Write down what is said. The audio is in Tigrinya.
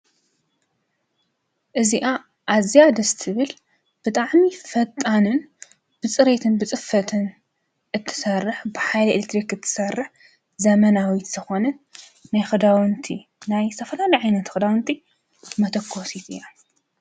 እዚኣ ኣዚያ ደስ ትብል ብጣዕሚ ፈጣንን ብፅሬትን ብፅፈትን እትሰርሕ በሓይሊ ኤሌትሪክ እትሰርሕ ዘመናዊት ዝኮነት ናይ ክዳዉንቲ ናይ ዝተፈላለዩ ዓይነት ክዳዉንቲ መቶኮሲት እያ፡፡